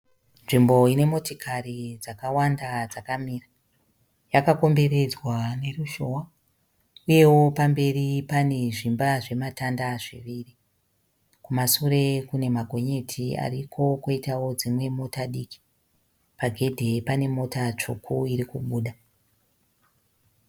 Nzvimbo ine motikari dzakawanda dzakamira. Yakakomberedzwa neruzhowa uyewo pamberi pane zvimba zvematanda zviviri. Kumasure kune magonyeti ariko kwoitawo dzimwe mota diki. Pagedhi pane mota tsvuku iri kubuda.